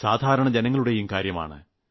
സാധാരണ ജനങ്ങളുടെയും കാര്യമാണ്